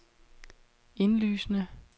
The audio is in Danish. indlysende